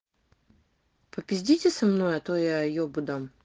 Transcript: попиздите со мной а то я ёбу дам